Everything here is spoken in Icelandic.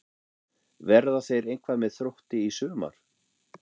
Verða þeir eitthvað með Þrótti í sumar?